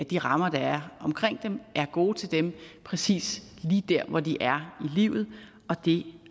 de rammer der er omkring dem er gode til dem præcis lige der hvor de er i livet og det